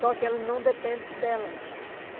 Só que ela não depende delas.